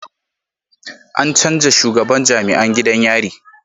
An canja shugaban jam'iyan gidan yari